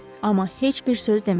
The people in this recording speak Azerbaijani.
Amma heç bir söz demədi.